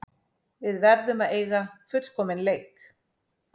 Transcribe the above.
Við verðum að eiga fullkominn leik